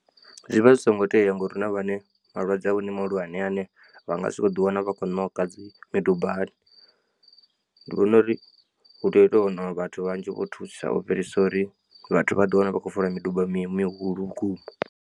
Zwi vha zwi songo tea ngori hu na vhane malwadze avho ndi mahulwane ane vha nga sokou ḓiwana vha khou ṋoka dzi midubani. Ndi vhona uri hu tea u to waniwa vhathu vhanzhi vho thusa u fhirisa uri vhathu vha ḓiwane vha khou fola miduba mi mihulu vhukuma.